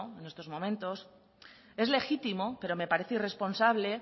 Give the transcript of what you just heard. en estos momentos es legítimo pero me parece irresponsable